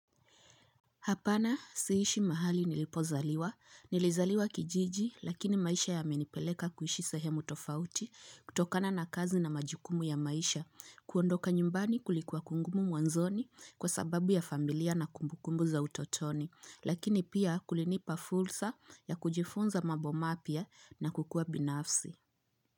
Hapana siishi mahali nilipozaliwa. Nilizaliwa kijiji lakini maisha ya menipeleka kuishi sehemu tofauti kutokana na kazi na majukumu ya maisha. Kuondoka nyumbani kulikuwa kungumu mwanzoni kwa sababu ya familia na kumbukumbu za utotoni. Lakini pia kulinipa fulsa ya kujifunza mabo mapia na kukua binafsi.